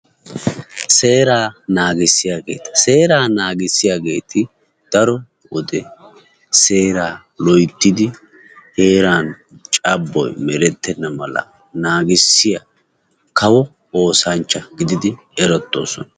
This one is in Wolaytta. Seeraa naagissiyageeta. Seeraa naagissiyageeti daro wode seeraa loyttidi heeran cabboy merettenna mala naagissiya kawo oosanchcha gididi erettoosona.